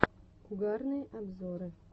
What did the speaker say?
угарные обзоры